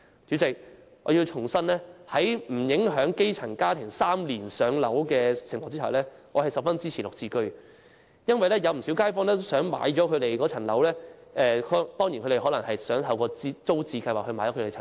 主席，我要重申，在不影響基層家庭3年"上樓"的情況下，我十分支持"綠置居"，因為不少街坊都想擁有居住的房屋，雖然他們可能希望透過租置計劃購置房屋。